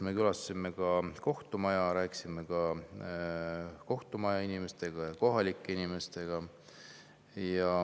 Me külastasime ka kohtumaja, rääkisime kohtumaja inimestega ja kohalike elanikega.